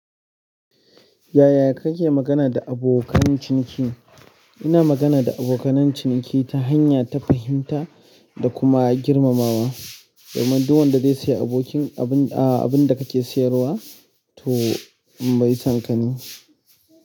Yaya kake magana da abokan ciniki? Ina magana da abokan ciniki ta hanya ta fahimta da kuma girmamawa, don duk wanda zai sayi abin da kake sayarwa to mai son ka ne.